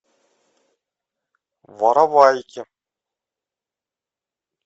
воровайки